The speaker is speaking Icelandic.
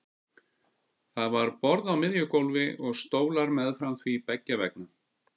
Það var borð á miðju gólfi og stólar meðfram því beggja vegna.